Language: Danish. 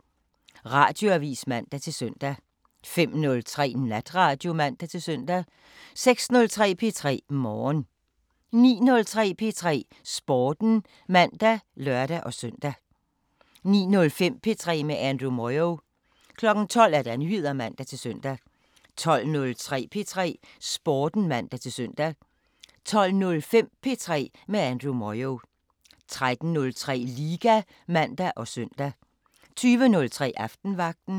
05:00: Radioavisen (man-søn) 05:03: Natradio (man-søn) 06:03: P3 Morgen 09:03: P3 Sporten (man og lør-søn) 09:05: P3 med Andrew Moyo 12:00: Nyheder (man-søn) 12:03: P3 Sporten (man-søn) 12:05: P3 med Andrew Moyo 13:03: Liga (man og søn) 20:03: Aftenvagten